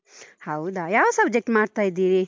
ಹೌದಾ? ಯಾವ subject ಮಾಡ್ತಾ ಇದ್ದೀರಿ?